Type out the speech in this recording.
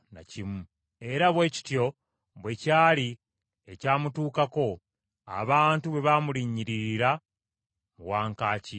Era bwe kityo bwe kyali ekyamutuukako, abantu bwe bamulinnyiririra mu wankaaki, n’afa.